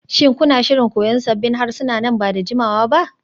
Shin kuna shirin koyan sabbin harsuna nan ba da jimawa ba?